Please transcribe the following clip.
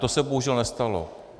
To se bohužel nestalo.